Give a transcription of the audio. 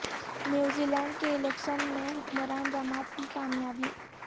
New Zealand کے election میں حکمران جماعت کی کامیابی